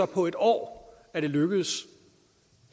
på et år lykkedes